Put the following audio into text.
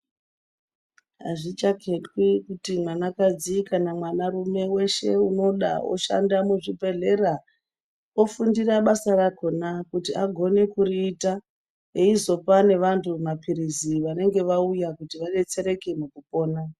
Hazvichaketwi kuti mwana kadzi kana kuti mwana rume weshe unoda oshande muzvibhedhlera ofundira basa rakona kuti agone kuriita oyizopa nevantu mapilizi vanenge vauya kuti vadetsereke nekupona.